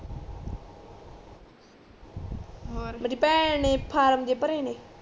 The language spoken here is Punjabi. ਔਰ ਮੇਰੀ ਭੈਣ ਇਕ ਫਾਰਮ ਜੇ ਭਰੇ ਨੇ